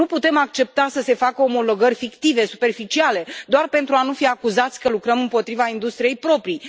Nu putem accepta să se facă omologări fictive, superficiale, doar pentru a nu fi acuzați că lucrăm împotriva industriei proprii.